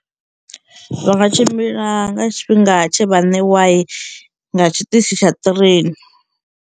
Vha nga tshimbila nga tshifhinga tshe vha ṋewa nga tshiṱitshi tsha ṱrain.